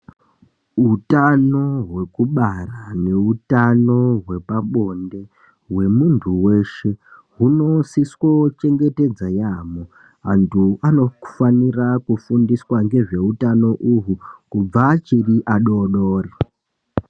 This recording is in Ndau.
Hutano hweku bara ne utano hwepa bonde hwe muntu weshe huno siswe chengetedza yamho antu anofanira ku fundiswa ngezve utano uhwu kubva achiri adodori.